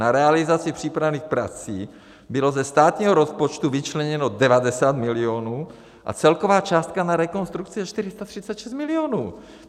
Na realizaci přípravných prací bylo ze státního rozpočtu vyčleněno 90 milionů a celková částka na rekonstrukci je 436 milionů.